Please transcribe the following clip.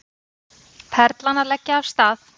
Perlan að leggja af stað